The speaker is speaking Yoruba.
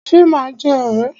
Ṣe ma jẹ́ ọ̀rẹ́?